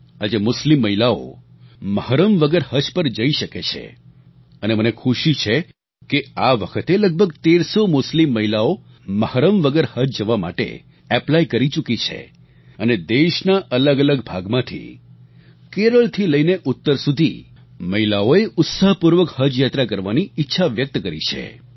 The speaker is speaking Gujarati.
આજે મુસ્લિમ મહિલાઓ મહરમ વગર હજ પર જઈ શકે છે અને મને ખુશી છે કે આ વખતે લગભગ 1300 મુસ્લિમ મહિલાઓ મહરમ વગર હજ જવા માટે એપ્લાય કરી ચૂકી છે અને દેશના અલગ અલગ ભાગમાંથી કેરળથી લઈને ઉત્તર સુધી મહિલાઓએ ઉત્સાહપૂર્વક હજ યાત્રા કરવાની ઈચ્છા વ્યક્ત કરી છે